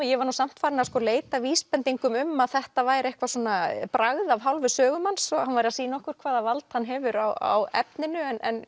ég var nú samt farin að leita að vísbendingum um að þetta væri eitthvað svona bragð af hálfu sögumanns að hann væri að sýna okkur hvaða vald hann hefur á efninu en